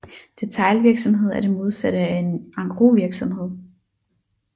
Detailvirksomhed er det modsatte af en engrosvirksomhed